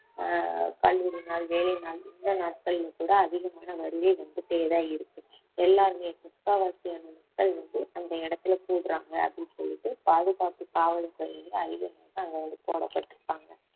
ஆஹ் கல்லூரி நாள் வேலை நாள் இந்த நாட்களில் கூட அதிகமான வருகை வந்துட்டேதான் இருக்கு எல்லாருமே முக்காவாசியான மக்கள் வந்து அந்த இடத்துல கூடுறாங்க அப்படின்னு சொல்லிட்டு பாதுகாப்பு காவல் துறையில அதிகாரி வந்து அங்க வந்து போடப்பட்டிருப்பாங்க